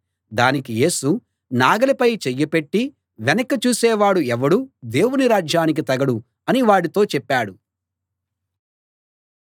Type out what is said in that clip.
దానికి యేసు నాగలిపై చెయ్యి పెట్టి వెనక్కి చూసేవాడు ఎవడూ దేవుని రాజ్యానికి తగడు అని వాడితో చెప్పాడు